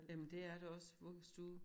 Jamen det er det også vuggestue